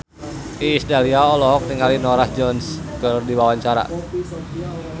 Iis Dahlia olohok ningali Norah Jones keur diwawancara